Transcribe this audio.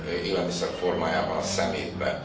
élelmiszer formájában a szemétbe.